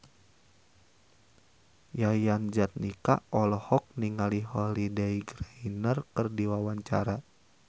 Yayan Jatnika olohok ningali Holliday Grainger keur diwawancara